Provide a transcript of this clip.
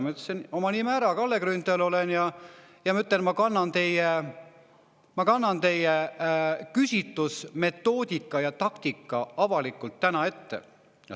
" Ma ütlesin oma nime ära, et Kalle Grünthal olen, ja ütlesin: "Ma kannan teie küsitlusmetoodika ja ‑taktika avalikult ette.